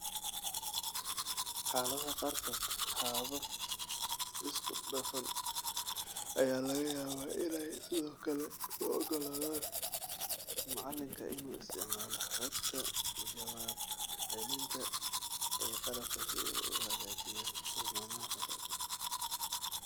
Xaaladaha qaarkood, habab isku dhafan ayaa laga yaabaa inay sidoo kale u oggolaadaan macalinka inuu isticmaalo xogta jawaab celinta ee qalabka si uu u hagaajiyo tilmaamaha fasalka.